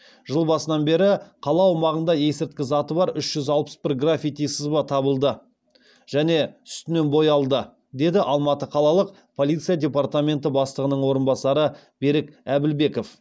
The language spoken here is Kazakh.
жыл басынан бері қала аумағында есірткі заты бар үш жүз алпыс бір граффити сызба табылды және үстінен боялды деді алматы қалалық полиция департаменті бастығының орынбасары берік әбілбеков